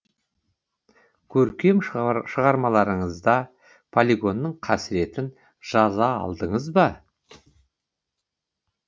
көркем шығармаларыңызда полигонның қасіретін жаза алдыңыз ба